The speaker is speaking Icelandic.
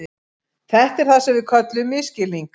Þetta er það sem við köllum misskilning.